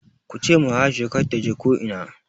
Kuce ma Aisha kar taje ko ina!